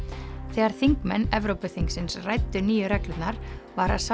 þegar þingmenn Evrópuþingsins ræddu nýju reglurnar var